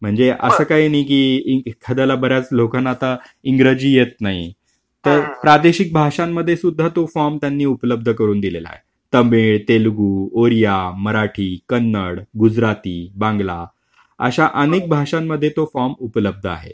म्हणजे असं काही नाही की एखाद्याला बऱ्याच लोकांना आता इंग्रजी येत नाही. तर प्रादेशिक भाषांमध्ये सुद्धा तो फॉर्म त्यांनी उपलब्ध करून दिलेला आहे. तमिळ, तेलगू, ओडिया, मराठी, कन्नड, गुजराती, बांगला अशा अनेक भाषांमध्ये तो फॉर्म उपलब्ध आहे.